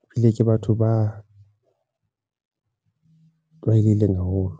e bile ke batho ba u tlwaelehileng haholo.